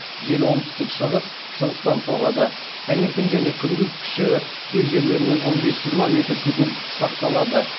жел оңтүстік шығыс шығыстан соғады таңертең және күндіз күші кей жерлерде он бес жиырма метр секунд сақталады